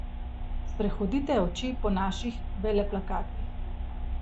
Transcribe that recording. Sprehodite oči po naših veleplakatih.